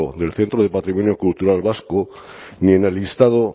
del centro de patrimonio cultural vasco ni en el listado